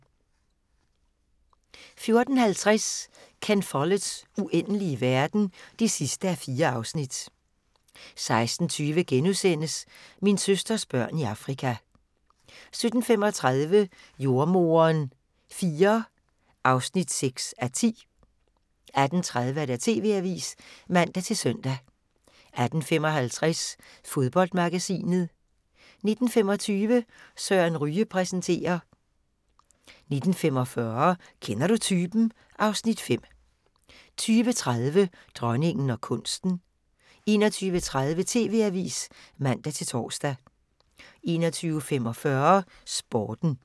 14:50: Ken Folletts Uendelige verden (4:4) 16:20: Min søsters børn i Afrika * 17:35: Jordemoderen IV (6:10) 18:30: TV-avisen (man-søn) 18:55: Fodboldmagasinet 19:25: Søren Ryge præsenterer 19:45: Kender du typen? (Afs. 5) 20:30: Dronningen og kunsten 21:30: TV-avisen (man-tor) 21:45: Sporten